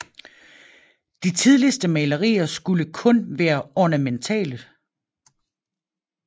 De tidligste malerier skulle kun være ornamentale